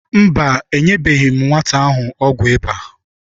Mba, enyebeghị m nwata ahụ ọgwụ ịba.